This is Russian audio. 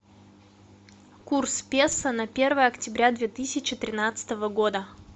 курс песо на первое октября две тысячи тринадцатого года